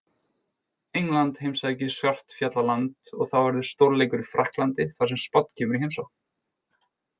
England heimsækir Svartfjallaland og þá verður stórleikur í Frakklandi þar sem Spánn kemur í heimsókn.